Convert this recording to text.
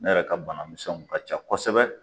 Ne yɛrɛ ka banamisɛnw ka ca kosɛbɛ